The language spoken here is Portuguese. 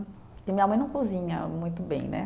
E minha mãe não cozinha muito bem, né?